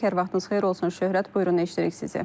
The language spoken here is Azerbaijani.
Hər vaxtınız xeyir olsun Şöhrət, buyurun eşidirik sizi.